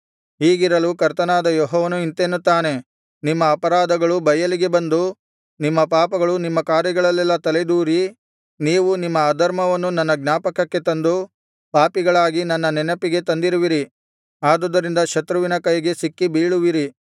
ಹೀಗಿರಲು ಕರ್ತನಾದ ಯೆಹೋವನು ಇಂತೆನ್ನುತ್ತಾನೆ ನಿಮ್ಮ ಅಪರಾಧಗಳು ಬಯಲಿಗೆ ಬಂದು ನಿಮ್ಮ ಪಾಪಗಳು ನಿಮ್ಮ ಕಾರ್ಯಗಳಲ್ಲೆಲ್ಲಾ ತಲೆದೋರಿ ನೀವು ನಿಮ್ಮ ಅಧರ್ಮವನ್ನು ನನ್ನ ಜ್ಞಾಪಕಕ್ಕೆ ತಂದು ಪಾಪಿಗಳಾಗಿ ನನ್ನ ನೆನಪಿಗೆ ತಂದಿರುವಿರಿ ಆದುದರಿಂದ ಶತ್ರುವಿನ ಕೈಗೆ ಸಿಕ್ಕಿ ಬೀಳುವಿರಿ